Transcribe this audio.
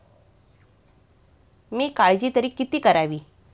मी काळजी तरी किती करावी.